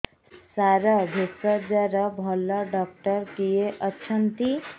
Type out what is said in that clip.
ସାର ଭେଷଜର ଭଲ ଡକ୍ଟର କିଏ ଅଛନ୍ତି